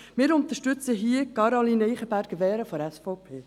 Wir unterstützen hier Caroline Eichenberger-Wehren von der SVP.